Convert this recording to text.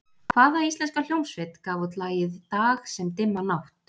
Hvaða íslenska hljómsveit gaf út lagið Dag sem dimma nátt?